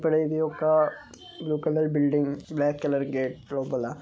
ఇక్కడ ఇది ఒకా blue colour building black colour gate లోపల .